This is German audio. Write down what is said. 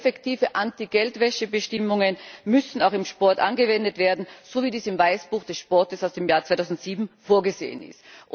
Effektive Anti Geldwäsche Bestimmungen müssen auch im Sport angewendet werden, so wie dies im Weißbuch des Sportes aus dem Jahr 2007 vorgesehen ist.